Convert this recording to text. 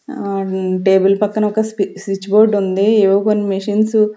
ఆ టేబుల్ పక్కన ఒక స్వి స్విచ్ బోర్డు ఉంది ఏవో కొన్ని మిషన్సు .